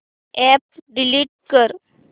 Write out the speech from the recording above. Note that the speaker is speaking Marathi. अॅप डिलीट कर